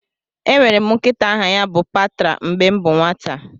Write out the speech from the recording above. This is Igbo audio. Enwere m nkịta aha ya bụ Patra mgbe m bụ nwata